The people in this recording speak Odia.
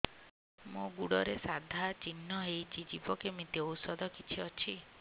ମୋ ଗୁଡ଼ରେ ସାଧା ଚିହ୍ନ ହେଇଚି ଯିବ କେମିତି ଔଷଧ କିଛି ଅଛି